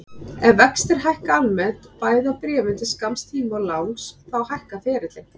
Ef vextir hækka almennt, bæði á bréfum til skamms tíma og langs, þá hækkar ferillinn.